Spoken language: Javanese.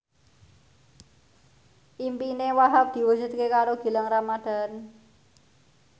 impine Wahhab diwujudke karo Gilang Ramadan